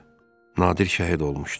Nadir şəhid olmuşdu.